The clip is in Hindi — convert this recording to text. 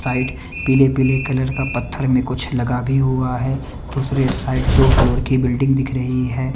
साइट पीले पीले कलर का पत्थर में कुछ लगा भी हुआ है दूसरे साइड दो फ्लोर की बिल्डिंग दिख रही है।